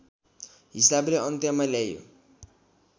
हिसाबले अन्त्यमा ल्याइयो